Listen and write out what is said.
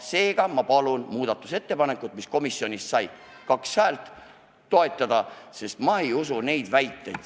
Seega, ma palun toetada muudatusettepanekut, mis sai komisjonis kaks häält, sest ma ei usu neid väiteid.